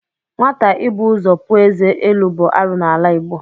Nwata ịbụ ụzọ puo ézé elu bụ arụ n'ala Igbo.